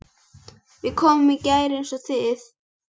Við komum í gær eins og þið.